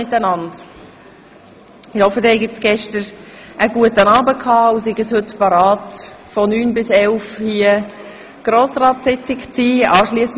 Ich hoffe, Sie hatten gestern einen guten Abend und sind heute bereit für die Grossratssitzung von 9 bis 11 Uhr.